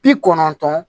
Bi kɔnɔntɔn